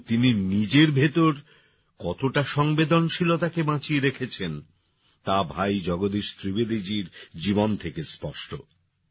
কিন্তু তিনি যে নিজের ভিতর কতটা সংবেদনশীলতাকে বাঁচিয়ে রেখেছেন তা ভাই জগদীশ ত্রিবেদীজীর জীবন থেকে স্পষ্ট